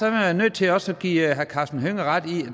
jeg nødt til også at give herre karsten hønge ret i at